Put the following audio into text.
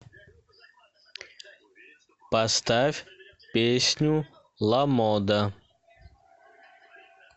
поставь песню ламода